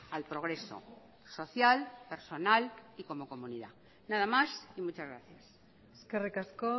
al progreso social personal y como comunidad nada más y muchas gracias eskerrik asko